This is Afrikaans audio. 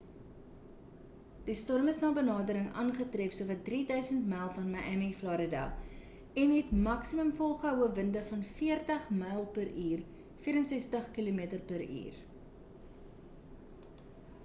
die storm is na benadering aangetref sowat 3 000 myl van miami florida en het maksimum volgehoue winde van 40 m.p.u 64 km/h